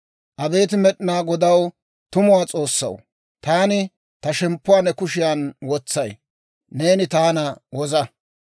Abeet Med'inaa Godaw, tumuwaa S'oossaw, Taani ta shemppuwaa ne kushiyan wotsay; neeni taana woza.